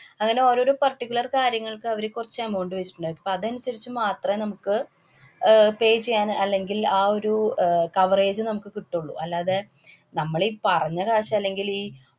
അങ്ങനെ ഓരോരോ particular കാര്യങ്ങള്‍ക്കു അവര് കൊറച്ചു amount വച്ചിട്ടുണ്ടായിരിക്കും. അപ്പ അതനുസരിച്ച് മാത്രെ നമുക്ക് അഹ് pay ചെയ്യാന്‍, അല്ലെങ്കില്‍ ആ ഒരു അഹ് coverage നമുക്ക് കിട്ടുള്ളൂ. അല്ലാതെ നമ്മളീ പറഞ്ഞ കാശ് അല്ലെങ്കിലീ